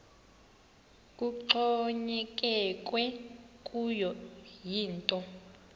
kuxhonyekekwe kuyo yinto